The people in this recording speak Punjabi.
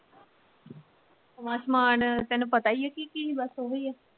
ਨਵਾਂ ਸਮਾਨ ਤੇਨੂੰ ਪਤਾ ਹੀ ਸੀ, ਕੀ ਕੀ ਬਸ ਓਹੀ ਆ।